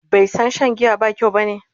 bai San Shan giya ba kyau bane?